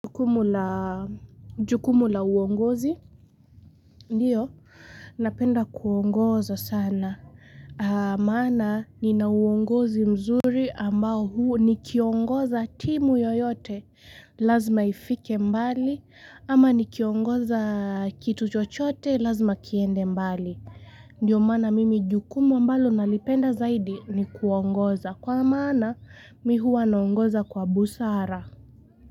Jukumu la uongozi, ndio, napenda kuongoza sana, maana nina uongozi mzuri ambao huu ni kiongoza timu yoyote, lazima ifike mbali, ama ni kiongoza kitu chochote, lazima kiende mbali. Ndiyo maana mimi jukumu ambalo nalipenda zaidi ni kuongoza, kwa maana mi huwa naongoza kwa busara.